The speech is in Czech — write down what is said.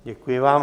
Děkuji vám.